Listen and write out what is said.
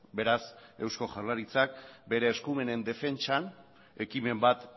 beraz eusko jaurlaritzak bere eskumenen defentsan ekimen bat